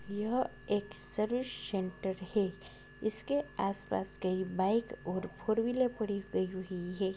यह एक service centre है इसके आसपास कई बाइक और फॉर व्हीलर पड़ी गयी हुई है।